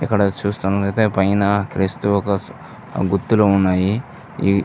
ఇక్కడ చూస్తునట్టయితే పైన క్రీస్తు ఒక గుర్తులు ఉన్నాయి. ఈ --